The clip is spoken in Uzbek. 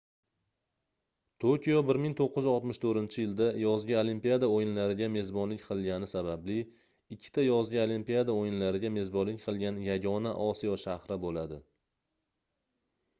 tokio 1964-yilda yozgi olimpiada oʻyinlariga mezbonlik qilgani sababli ikkita yozgi olimpiada oʻyinlariga mezbonlik qilgan yagona osiyo shahri boʻladi